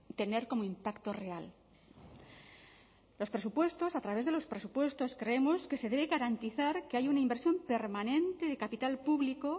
tener como impacto real los presupuestos a través de los presupuestos creemos que se debe garantizar que hay una inversión permanente de capital público